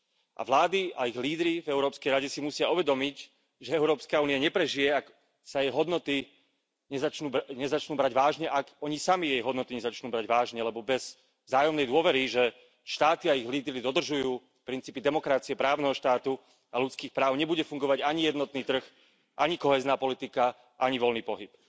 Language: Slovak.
A vlády a ich lídri v Európskej rade si musia uvedomiť, že Európska únia neprežije, ak sa jej hodnoty nezačnú brať vážne, ak oni sami jej hodnoty nezačnú brať vážne, lebo bez vzájomnej dôvery, že štáty a ich lídri dodržujú princípy demokracie, právneho štátu a ľudských práv, nebude fungovať ani jednotný trh, ani kohézna politika, ani voľný pohyb.